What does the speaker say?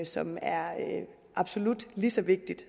som er absolut lige så vigtigt